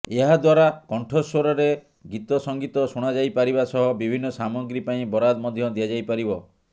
ଏହାଦ୍ୱାରା କଣ୍ଠସ୍ୱରରେ ଗୀତ ସଂଗୀତ ଶୁଣାଯାଇପାରିବା ସହ ବିଭିନ୍ନ ସାମଗ୍ରୀ ପାଇଁ ବରାଦ ମଧ୍ୟ ଦିଆଯାଇପାରିବ